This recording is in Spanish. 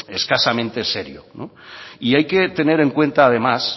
escasamente serio y hay que tener en cuenta además